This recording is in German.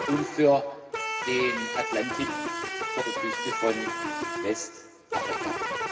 und für den Atlantik vor der Küste von Westafrika.